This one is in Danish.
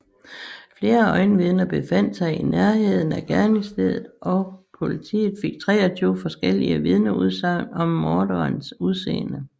Flere øjenvidner befandt sig i nærheden af gerningsstedet og politiet fik 23 forskellige vidnesudsagn om morderens udseende